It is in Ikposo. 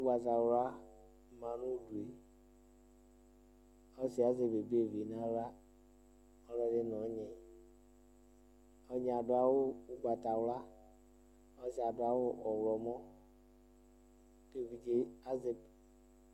Ʋgbatawlua, manʋ ʋɖueɔsiɛ azɛ babevi n'awlaɔlɔɖi n'ɔyniɔyniɛ aɖʋ awu ʋgbatawlua ɔsiɛ aɖʋ awu ɔɣlɔmɔk'ɛvidze